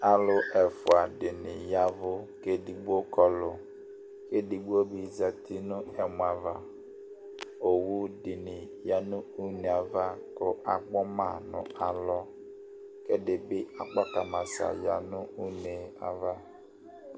Alu ɛfʋa ɖìŋí yavʋ kʋ ɛɖigbo Kɔlu Ɛɖigbobi zɛti ɛmɔ ava Owu ɖìŋí yaŋʋ ʋne ava ku akpɔma ŋu alɔ Ɛɖìbi akpakamasa yaŋu ʋne ava